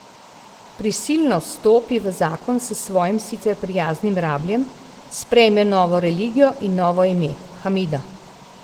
Prisilno stopi v zakon s svojim sicer prijaznim rabljem, sprejme novo religijo in novo ime, Hamida.